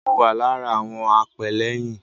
Mo wà lára àwọn apẹ́lẹ́yìn.